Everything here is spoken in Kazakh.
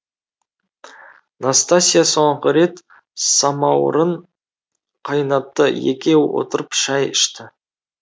настасья соңғы рет самаурын қайнатты екеуі отырып шай ішті